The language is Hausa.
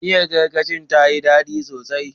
Miyar Karkashin ta yi dadi sosai.